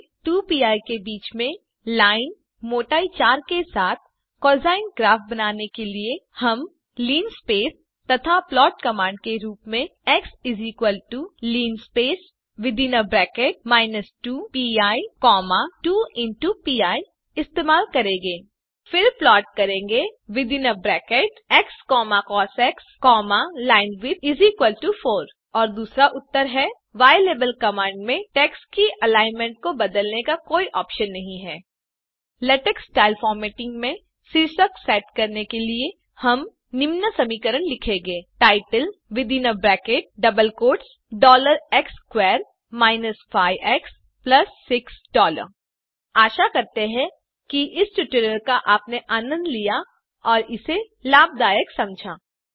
2pi से 2पी के बीच में लाइन मोटाई 4के साथ कोसाइन ग्राफ बनाने के लिए हम लिनस्पेस तथा प्लॉट कमांड के रूप में एक्स linspace 2पी 2पीइस्तेमाल करेंगे फिर प्लॉट करेंगे एक्स कॉस लाइनविड्थ4 और दूसरा उत्तर है नहीं ylabelकमांड में टेक्स्ट की अलाइनमेंट को बदलने का कोई पर्याय नहीं है तीसरा और आखरी लेटेक स्टाइल फॉरमॅटिंग में शीर्षक सेट करने के लिए हम निम्न समीकरण लिखेंगे titlex2 5एक्स6 आशा करते हैं कि इस ट्यूटोरियल का आपने आनंद लिया और इसे लाभदायक समझा